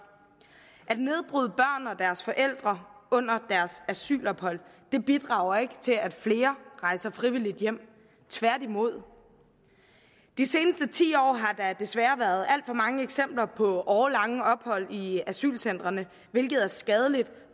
og deres forældre under deres asylophold bidrager ikke til at flere rejser frivilligt hjem tværtimod de seneste ti år har der desværre været alt for mange eksempler på årelange ophold i asylcentrene hvilket er skadeligt